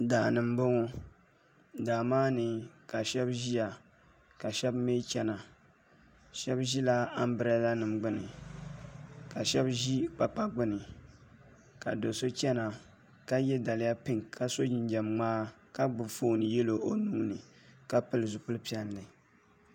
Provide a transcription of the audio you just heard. Daani n boŋo daa maa ni ka shab ʒiya ka shab mii chɛna shab ʒila anbirɛla nim gbuni ka shab ʒi kpakpa gbuni ka do so chɛna ka yɛ daliya pink ka so jinjɛm ŋmaa ka gbubi foon yɛlo o nuuni ka pili zipili piɛlli